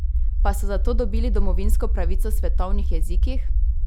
Pa so zato dobili domovinsko pravico v svetovnih jezikih?